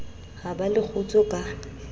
ha ba le kgutso ka